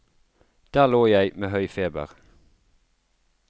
Der lå jeg med høy feber.